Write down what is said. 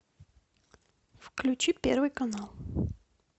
включи первый канал